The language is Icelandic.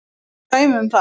Það eru dæmi um það.